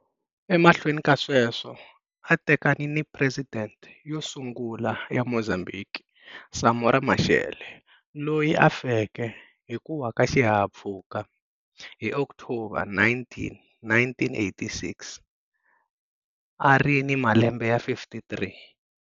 Emahweni ka sweswo a a tekane ni presidente yo sungula ya Mozambhiki, Samora Machel, loyi a feke hi ku wa ka xihahampfhuka hi October 19, 1986, na a ri ni malembe ya 53.